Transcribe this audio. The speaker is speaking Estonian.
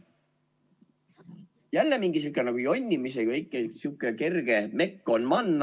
Jälle mingi sihuke kerge jonnimise mekk on man.